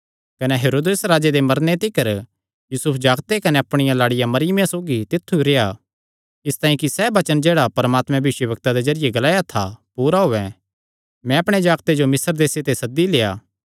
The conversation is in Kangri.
कने हेरोदेस राजे दे मरने तिकर यूसुफ जागते कने अपणिया लाड़िया मरियमा सौगी तित्थु रेह्आ इसतांई कि सैह़ वचन जेह्ड़ा परमात्मे भविष्यवक्ता दे जरिये ग्लाया था पूरा होयैं मैं अपणे जागते जो मिस्र देसे ते सद्दी लेआ